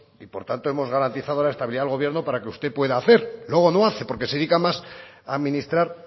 y por tanto hemos garantizado la estabilidad del gobierno para que usted pueda hacer luego no hace porque se dedica más a administrar